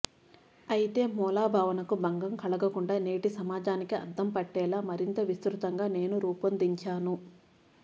అయితే మూలభావనకు భంగం కలగకుండా నేటి సమాజానికి అద్దం పట్టేలా మరింత విస్తృతంగా నేను రూపొందించాను